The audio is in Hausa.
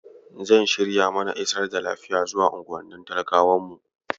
Zan shirya mana isar da lafiya zuwa unguwannin talakawan mu.